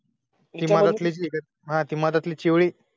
हा ती मधातली चिवळी